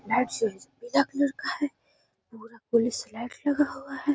पीला कलर का है। पूरा पुलिस लाइट लगा हुआ है।